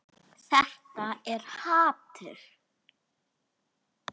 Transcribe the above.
Þetta er hatur.